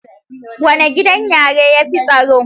Wane gidan yari yafi tsaro